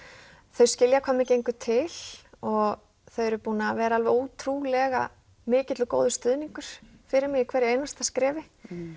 þau skilja hvað mér gengur til og þau eru búin að vera ótrúlega mikill og góður stuðningur fyrir mig í hverju einasta skrefi